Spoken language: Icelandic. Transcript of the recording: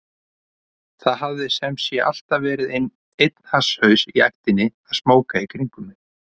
Það hafði sem sé alltaf verið einn hasshaus í ættinni að smóka í kringum mig.